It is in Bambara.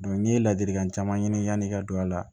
n'i ye ladilikan caman ɲini yanni i ka don a la